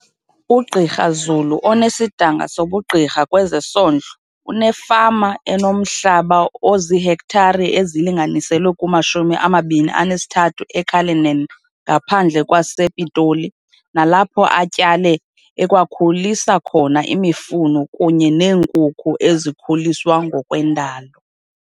UGqr Zulu, 48, onesidanga sobugqirha kwezesondlo, unefama enomhlaba oziihektare ezilinganiselwa kuma-23 e-Cullinan ngaphandle kwa sePitoli, nalapho atyale, ekwakhulisa khona imifuno kunye neenkukhu ezikhuliswa ngokwendalo.